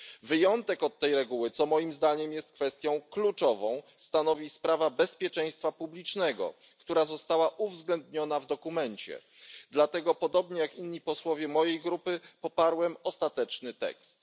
Wyjątek od tej reguły, co moim zdaniem jest kwestią kluczową, stanowią względy bezpieczeństwa publicznego, co zostało uwzględnione w dokumencie, dlatego podobnie jak inni posłowie z mojej grupy poparłem ostateczny tekst.